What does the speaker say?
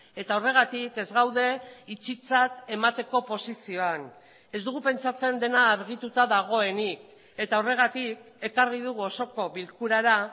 eta horregatik ez gaude itxitzat emateko posizioan ez dugu pentsatzen dena argituta dagoenik eta horregatik ekarri dugu osoko bilkurara